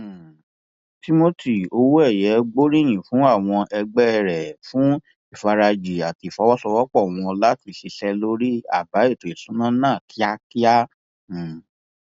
um timothy owóẹyẹ gbóríyìn fún àwọn ẹgbẹ rẹ fún ìfarajì àti ìfọwọsowọpọ wọn láti ṣiṣẹ lórí àbá ètò ìṣúná náà kíákíá um